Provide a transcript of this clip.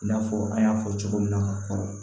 I n'a fɔ an y'a fɔ cogo min na ka kɔrɔ